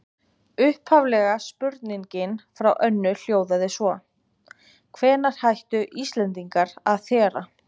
Upphaflega spurningin frá Önnu hljóðaði svo: Hvenær hættu Íslendingar að þéra?